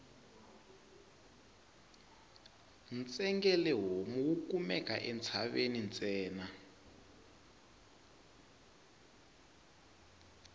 ntsengele homu wu kumeka entshaveni ntsena